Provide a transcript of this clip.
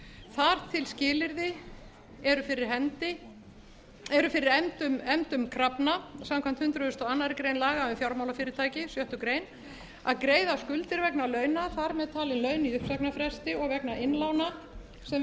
þar til skilyrði eru fyrir efndum krafna samkvæmt hundrað og aðra grein laga um fjármálafyrirtæki sjöttu grein að greiða skuldir vegna launa þar með talin laun í uppsagnarfresti og vegna innlána sem